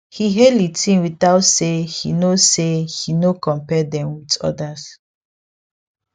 he hail e team without say he no say he no compare them with others